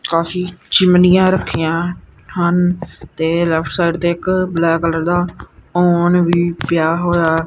ਕਾਫੀ ਚਿਮਨੀਆਂ ਰੱਖੀਆਂ ਹਨ ਤੇ ਲੈਫਟ ਸਾਈਡ ਤੇ ਇੱਕ ਬਲੈਕ ਕਲਰ ਦਾ ਔਵਨ ਵੀ ਪਿਆ ਹੋਇਆ।